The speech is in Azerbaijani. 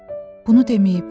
Bunu deməyib.